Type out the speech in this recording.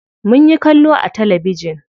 Munyi kallo a talabijin.